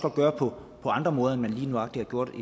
gøre på andre måder end man lige nøjagtig har gjort